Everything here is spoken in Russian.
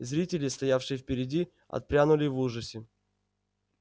зрители стоявшие впереди отпрянули в ужасе